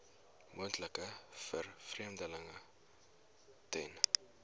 moontlike vervreemding ten